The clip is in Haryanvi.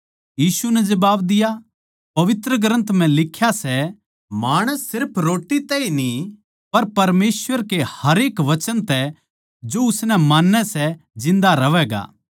यीशु नै जवाब दिया पवित्र ग्रन्थ म्ह लिख्या सै माणस सिर्फ रोट्टी तै ए न्ही पर परमेसवर के हरेक वचन तै जो उसनै मान्नै सै जिन्दा रह्वैगा